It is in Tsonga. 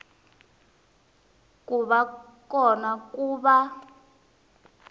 ku va kona ku va